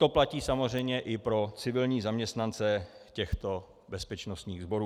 To platí samozřejmě i pro civilní zaměstnance těchto bezpečnostních sborů.